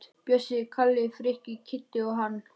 Bjössi, Kalli, Frikki, Kiddi og hann.